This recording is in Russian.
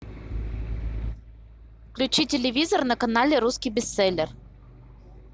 включи телевизор на канале русский бестселлер